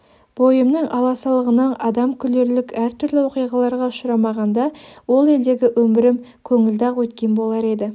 бойымның аласалығынан адам күлерлік әртүрлі оқиғаларға ұшырамағанда ол елдегі өмірім көңілді-ақ өткен болар еді